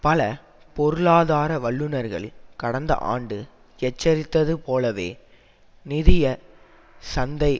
பல பொருளாதார வல்லுனர்கள் கடந்த ஆண்டு எச்சரித்தது போலவே நிதிய சந்தைகளை